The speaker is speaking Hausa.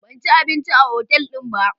Ban ci abinci a otal din ba.